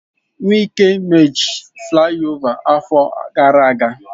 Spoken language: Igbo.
Wike mech flaiova afọ gara aga.